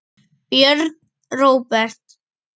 Björn Róbert.